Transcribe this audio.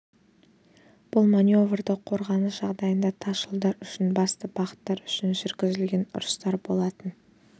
бұл маневрлі қорғаныс жағдайында тас жолдар үшін басты бағыттар үшін жүргізілген ұрыстар болатын